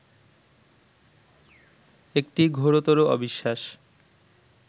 একটি ঘোরতর অবিশ্বাস